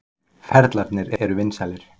Ferlarnir eru vinsælir.